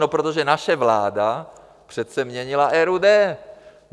No protože naše vláda přece měnila RUD.